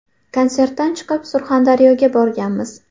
Konsertdan chiqib, Surxondaryoga borganmiz.